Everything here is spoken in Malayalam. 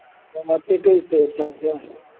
ധാക്കയ്ക്ക്